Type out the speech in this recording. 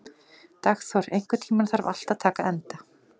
Dagþór, einhvern tímann þarf allt að taka enda.